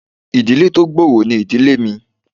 Ìdílé tó gbòòrò ni ìdílé mi